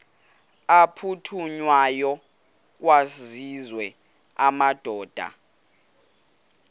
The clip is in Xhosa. aphuthunywayo kwaziswe amadoda